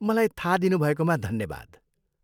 मलाई थाहा दिनुभएकोमा धन्यवाद।